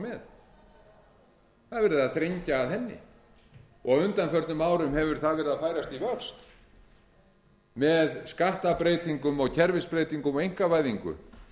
verið að þrengja að henni á undanförnum árum hefur það verið að færast í vöxt með skattbreytingum og kerfisbreytingum og einkavæðingu